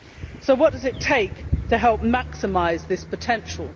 So what does it take to help maximise this potential?